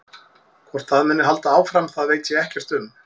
Hvort það muni halda áfram það veit ég ekkert um.